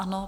Ano.